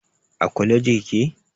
A kwaleji kike?